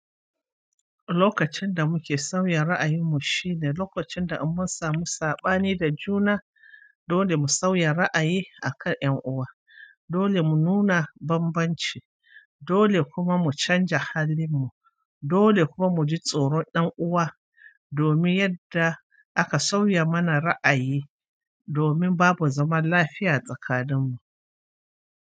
Lokacin da muke sauya ra'ayimmu shine lokacin da in mun samu saɓani da juna dole mu sauya ra'ayi akan 'yan uwa, dole mu nuna bambanci, dole kuma mu canja halin mu, dole kuma muji tsoron ɗan uwa, domin yadda aka sauya mana ra'ayi, domin babu zaman lafiya tsakaninmu.